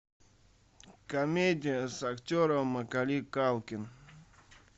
комедия с актером маколей калкин